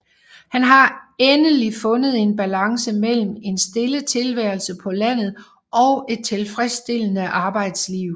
Han har endelig fundet en balance mellem en stille tilværelse på landet og et tilfredsstillende arbejdsliv